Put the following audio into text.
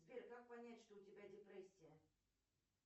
сбер как понять что у тебя депрессия